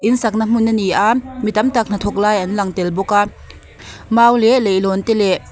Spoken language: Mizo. in sak na hmun ani a ni tam tak hnathawk lai an lang tel bawk a mau leh leihlawn te leh--